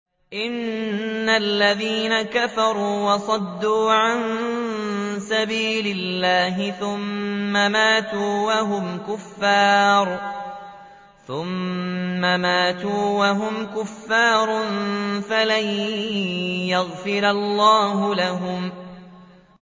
إِنَّ الَّذِينَ كَفَرُوا وَصَدُّوا عَن سَبِيلِ اللَّهِ ثُمَّ مَاتُوا وَهُمْ كُفَّارٌ فَلَن يَغْفِرَ اللَّهُ لَهُمْ